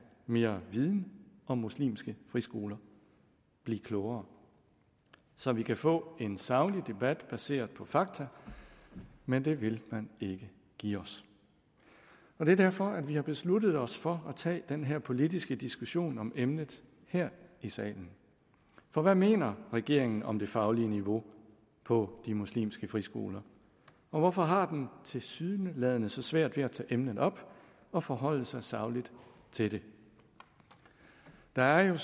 mere viden om muslimske friskoler blive klogere så vi kan få en saglig debat baseret på fakta men det vil man ikke give os det er derfor vi har besluttet os for at tage den her politiske diskussion om emnet her i salen for hvad mener regeringen om det faglige niveau på de muslimske friskoler hvorfor har den tilsyneladende så svært ved at tage emnet op og forholde sig sagligt til det der er jo